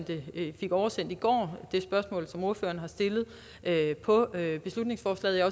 ved jeg fik oversendt i går det spørgsmål som ordføreren har stillet på beslutningsforslaget jeg